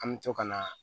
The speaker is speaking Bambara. An bɛ to ka na